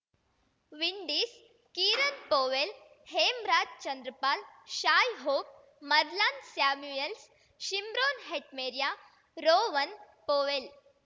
Windies Kieran Powell Hemraj Chanderpaul Shai Hope Marlon Samuels Shimron Hetmyer Rovman Powell